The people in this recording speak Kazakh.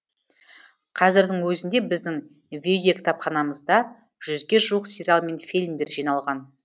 қазірдің өзінде біздің видеокітапханамызда жүзге жуық сериал мен фильмдер жиналған